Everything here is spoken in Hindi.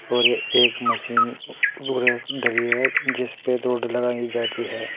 और एक मशीन धरी है जिस पे दौड़ लगाई जाती है।